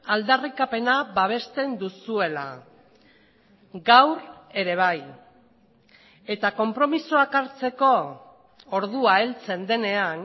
aldarrikapena babesten duzuela gaur ere bai eta konpromisoak hartzeko ordua heltzen denean